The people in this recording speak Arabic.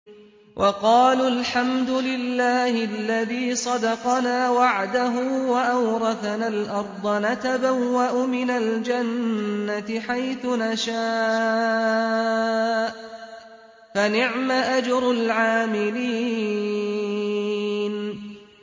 وَقَالُوا الْحَمْدُ لِلَّهِ الَّذِي صَدَقَنَا وَعْدَهُ وَأَوْرَثَنَا الْأَرْضَ نَتَبَوَّأُ مِنَ الْجَنَّةِ حَيْثُ نَشَاءُ ۖ فَنِعْمَ أَجْرُ الْعَامِلِينَ